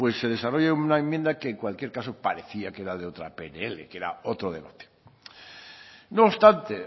pues se desarrolla una enmienda que en cualquier caso parecía que era de otra pnl que era otro debate no obstante